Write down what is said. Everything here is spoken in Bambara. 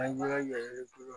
An ka yan